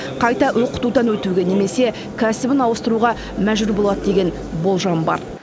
қайта оқытудан өтуге немесе кәсібін ауыстыруға мәжбүр болады деген болжам бар